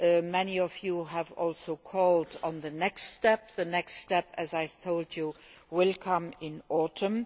Many of you have also called for the next step. The next step, as I told you, will come in the autumn.